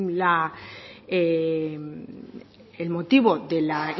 el motivo de la